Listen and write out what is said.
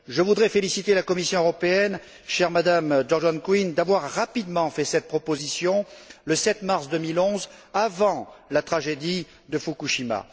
Je voudrais féliciter la Commission européenne, chère Madame Geoghegan Quinn, d'avoir rapidement fait cette proposition, le 7 mars 2011, avant la tragédie de Fukushima.